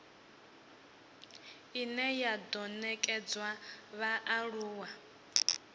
ine ya do nekedzwa vhaaluwa